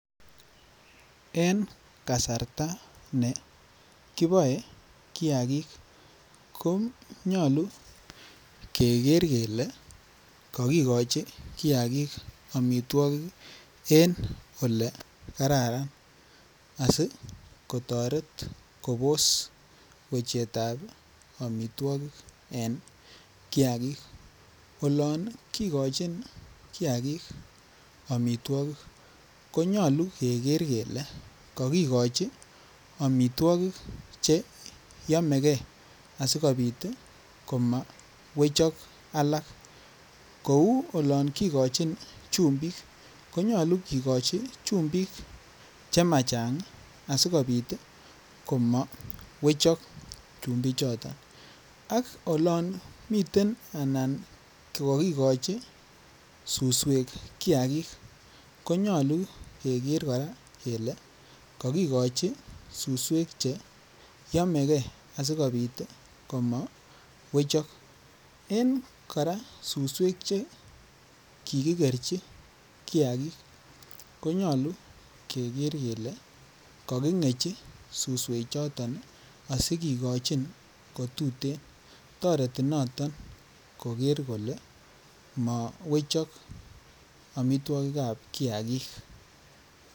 En kasarta ne kiboe kiagik ko nyoluu keger kelee kogochi kiagik omitwokik en ole kararan asi kotoret kobos wechetab omitwokik en kiagik olon kigochin kiagik okitwokik ko nyoluu keger kelee kokigochi omitwokik che yomegee asikopit koma wechok alak kouu olon kigochin chumbik konyoluu kigochi chumbik che machang asikopit komo wechok chumbik choton ak olon miten anan ko kokigochi suswek kiagik konyoluu keger koraa kolee kogigochi suswek che yomegee asi komo wechok en koraa suswek en koraa suswek che kikigerchi kiagik ko nyoluu keger kelee kokigerchi suswek choton asi kigochin ko tuten toreti noton koger kolee mowechok omitwokikab kiagik